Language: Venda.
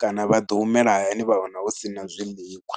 kana vha ḓo humela hayani vha wana hu si na zwiḽiwa.